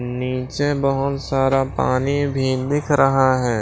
नीचे बहुत सारा पानी भी दिख रहा है।